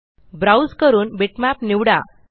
browse करून bitmap निवडा